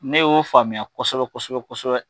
Ne y'o faamuya kosɛbɛ kosɛbɛ kosɛbɛ.